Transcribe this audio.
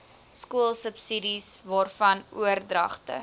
skoolsubsidies waarvan oordragte